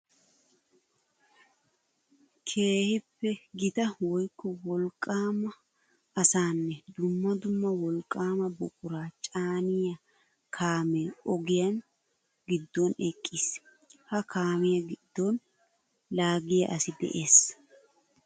Keehippe gita woykko wolqqama asanne dumma dumma wolqqama buqura caaniya kaame ogiya gidon eqqiis. Ha kaamiya gidon laagiya asi de'ees.